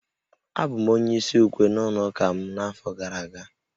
Abụ m onye isi ukwe n'ụlọ ụka m n'afọ gara aga